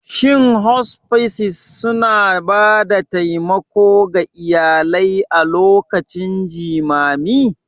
Shin Hospices suna ba da taimako ga iyalai a lokacin jimami?